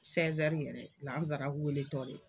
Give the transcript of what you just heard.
yɛrɛ laara weele tɔ de.